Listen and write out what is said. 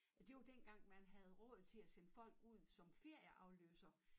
Ja det var dengang man havde råd til at sende folk ud som ferieafløser